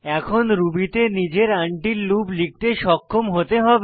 এখন রুবি তে নিজের আনটিল লুপ লিখতে সক্ষম হতে হবে